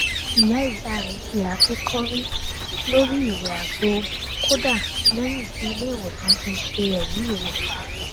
ìyá ìyá rẹ fi àáké kọrí lórí ìwẹ àgbo kódà lẹyìn tí ilé ìwòsàn ṣe ẹrí ìwòsàn